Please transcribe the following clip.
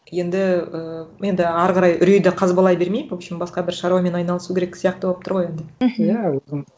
енді ііі енді ары қарай үрейді қазбалай бермей в общем басқа бір шаруамен айналысу керек сияқты болып тұр ғой енді мхм иә